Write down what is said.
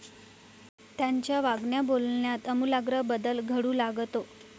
त्यांच्या वागण्याबोलण्यात आमूलाग्र बदल घडू लागतो.